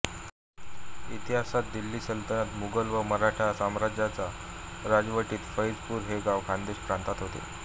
इतिहासात दिल्ली सल्तनत मुगल व मराठा साम्राज्याच्या राजवटीत फैजपूर हे गाव खानदेश प्रांतात होते